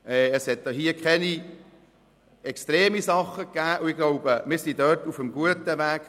Hier gab es keine extremen Dinge, und ich glaube, wir sind auf einem guten Weg.